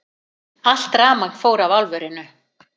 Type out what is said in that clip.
Allt rafmagn fór af álverinu